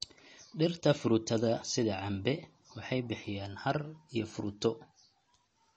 Dhirta fruitada sida cambe waxay bixiyaan hadh iyo fruito.